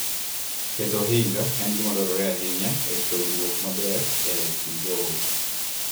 Keto ohinga en gima dwarore ahinya e rito winjruok maber e kind joot.